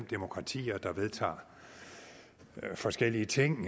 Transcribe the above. demokratier der vedtager forskellige ting